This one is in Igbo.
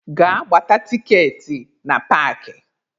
Gaa gbata tikeetị na park!